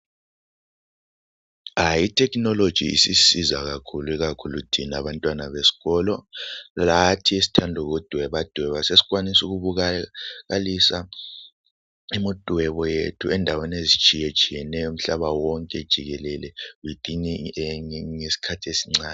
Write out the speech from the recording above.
I Technology isisisiza kakhulu ikakhulu thina abantwana besikolo lathi esithanda ukudwebadweba sesikwanisa ukubonakalisa imidwebo yethu endaweni ezitshiyetshiyeneyo umhlaba wonke jikelele ngesikhathi esincane.